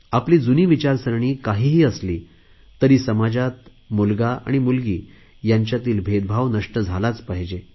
आपली जुनी विचारसरणी काहीही असली तरी समाजात मुलगा आणि मुलगी यांच्यातील भेदभाव नष्ट झालाच पाहिजे